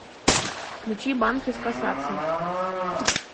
включи банкес касаться